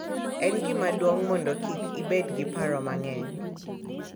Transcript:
En gima duong’ mondo kik ibed gi paro mang’eny